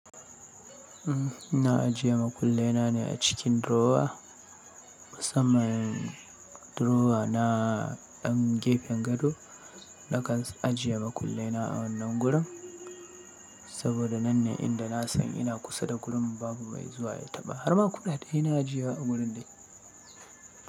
Na ajiye makullai na ne a cikin durowa. Musamman durowa na ɗan gefen gado. Na kan ajiye makullena a wannan gurin, saboda nan ne inda na san ina kusa da gurin babu mai zuwa ya taɓa. Har ma kuɗaɗe ina ajiyewa a gurin dai.